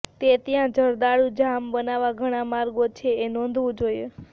તે ત્યાં જરદાળુ જામ બનાવવા ઘણા માર્ગો છે કે એ નોંધવું જોઈએ